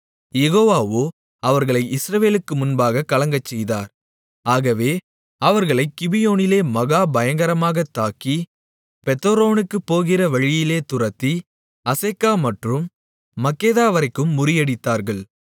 யெகோவாவோ அவர்களை இஸ்ரவேலுக்கு முன்பாகக் கலங்கச்செய்தார் ஆகவே அவர்களைக் கிபியோனிலே மகா பயங்கரமாகத் தாக்கி பெத்தொரோனுக்குப் போகிற வழியிலே துரத்தி அசெக்கா மற்றும் மக்கெதாவரைக்கும் முறியடித்தார்கள்